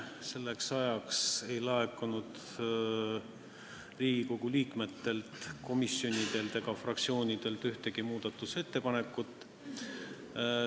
Selleks ajaks ei laekunud Riigikogu liikmetelt, komisjonidelt ega fraktsioonidelt ühtegi muudatusettepanekut.